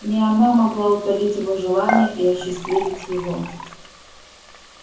не она могла утолить его желания и осчастливить его